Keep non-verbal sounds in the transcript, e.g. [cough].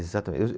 Exatame. [unintelligible]